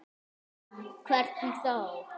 Hvernig þá?